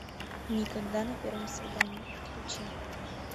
никогда на первом свидании включи